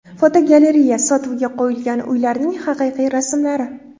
Fotogalereya: Sotuvga qo‘yilgan uylarning haqiqiy rasmlari.